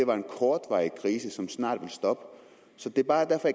var en kortvarig krise som snart ville stoppe det er bare derfor